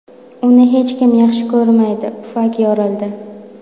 Uni hech kim yaxshi ko‘rmaydi, pufak yorildi.